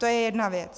To je jedna věc.